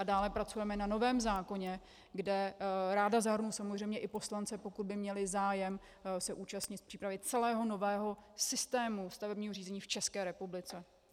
A dále pracujeme na novém zákoně, kde ráda zahrnu samozřejmě i poslance, pokud by měli zájem se účastnit přípravy celého nového systému stavebního řízení v České republice.